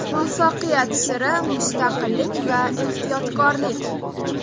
Muvaffaqiyat siri: Mustaqillik va ehtiyotkorlik.